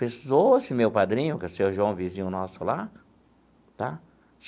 Precisou esse meu padrinho, que é seu João vizinho nosso lá, tá?